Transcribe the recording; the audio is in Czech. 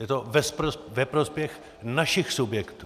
Je to ve prospěch našich subjektů.